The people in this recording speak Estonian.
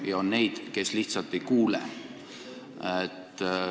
Ja on neid, kes lihtsalt ei kuule.